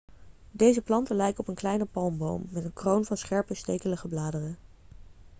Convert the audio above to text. deze planten lijken op een kleine palmboom met een kroon van scherpe stekelige bladeren